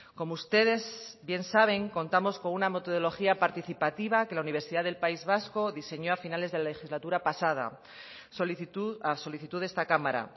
como ustedes bien saben contamos con una metodología participativa que la universidad del país vasco diseñó a finales de la legislatura pasada a solicitud de esta cámara